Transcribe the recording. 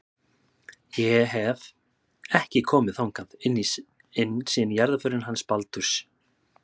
Ég hef. ekki komið þangað inn síðan í jarðarförinni hans Baldurs.